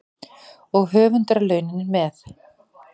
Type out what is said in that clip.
Og höfundarlaunin með.